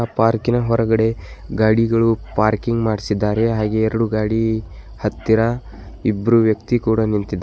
ಪಾರ್ಕಿ ನ ಹೊರಗಡೆ ಗಾಡಿಗಳು ಪಾರ್ಕಿಂಗ್ ಮಾಡಿಸಿದ್ದಾರೆ ಹಾಗೆ ಎರಡು ಗಾಡಿ ಹತ್ತಿರ ಇಬ್ರು ವ್ಯಕ್ತಿ ಕೂಡ ನಿಂತಿದ್ದಾರೆ.